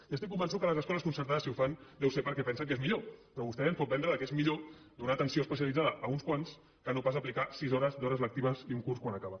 i estic convençut que les escoles concertades si ho fan deu ser perquè pensen que és millor però vostè ens pot vendre que és millor donar atenció especialitzada a uns quants que no pas aplicar sis hores d’hores lectives i un curs quan acaba